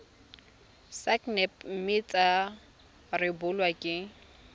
sacnap mme tsa rebolwa ke